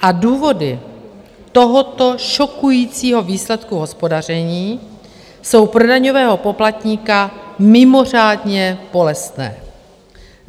A důvody tohoto šokujícího výsledku hospodaření jsou pro daňového poplatníka mimořádně bolestné.